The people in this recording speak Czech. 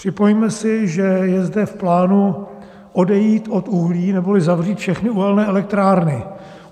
Připomeňme si, že je zde v plánu odejít od uhlí neboli zavřít všechny uhelné elektrárny.